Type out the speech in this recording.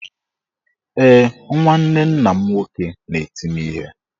Ee, nwanne nna m nwoke na-eti m ihe.